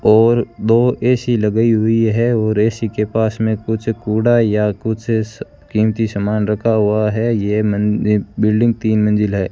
और दो ए_सी लगाई हुई है और ए_सी के पास में कुछ कूड़ा या कुछ कीमती सामान रखा हुआ है ये मन बिल्डिंग तीन मंजिल है।